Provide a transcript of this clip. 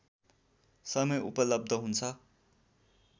समय उपलब्ध हुन्छ